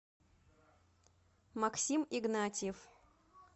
максим игнатьев